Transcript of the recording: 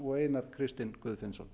og einar kristinn guðfinnsson